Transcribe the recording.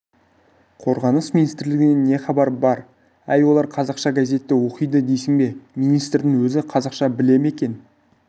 қорғаныс министрлігінен не хабар бар әй олар қазақша газетті оқиды дейсің бе министрдің өзі қазақша біле ме екен